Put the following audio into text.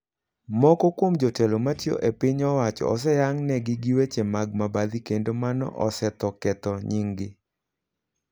Moko kuom jotelo matiyo e piny owacho osehang' ne gi giweche mag mabadhi kendo mano osetho Ketho nying gi.